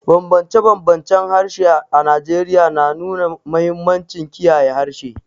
Bambance-bambancen harshe a Najeriya na nuna mahimmancin kiyaye harshe.